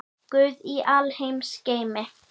Guð í alheims geimi.